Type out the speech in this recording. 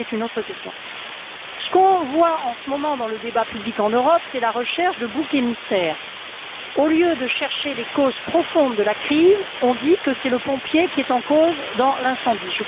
Mais cela, c'est une autre question. Ce qu'on voit en ce moment dans le débat public en Europe, c'est la recherche de boucs émissaires. Au lieu de chercher les causes profondes de la crise, on dit que c'est le pompier qui est en cause dans l'incendie.